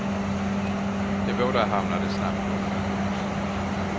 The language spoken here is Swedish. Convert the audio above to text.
De båda hamnade snabbt på kollisionskurs.